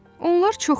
Onlar çoxdur.